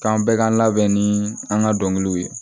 K'an bɛɛ ka labɛn ni an ka dɔnkiliw ye